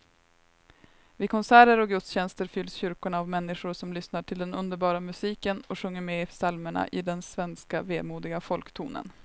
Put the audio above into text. Vid konserter och gudstjänster fylls kyrkorna av människor som lyssnar till den underbara musiken och sjunger med i psalmerna i den svenska vemodiga folktonen.